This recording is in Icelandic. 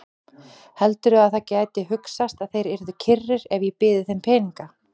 Heldurðu að það gæti hugsast að þeir yrðu kyrrir ef ég byði þeim peninga?